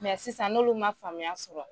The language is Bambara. Mɛ sisan n'olu ma faamuya sɔrɔ.